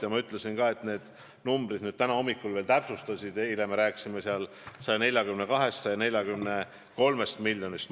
Ja ma ütlesin ka, et see summa veel täna hommikul täpsustus, eile rääkisime 142–143 miljonist.